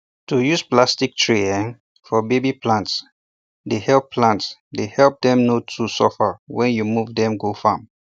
to use plastic um tray um for baby plants dey help plants dey help them no too suffer when you move them go farm